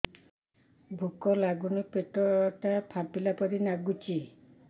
ଭୁକ ଲାଗୁନି ପେଟ ଟା ଫାମ୍ପିଲା ପରି ନାଗୁଚି